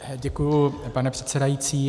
Děkuji, pane předsedající.